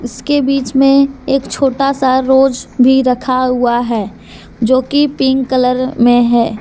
उसके बीच में एक छोटा सा रोज भी रखा हुआ है जो की पिंक कलर में है।